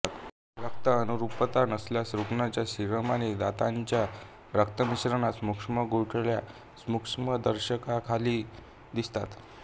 रक्त अनुरूपता नसल्यास रुग्णाच्या सीरम आणि दात्याच्या रक्तमिश्रणात सूक्ष्म गुठळ्या सूक्ष्मदर्शकाखाली दिसतात